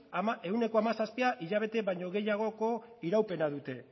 ehuneko hamazazpia hilabete baino gehiagoko iraupena dute